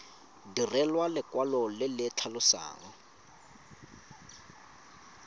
direlwa lekwalo le le tlhalosang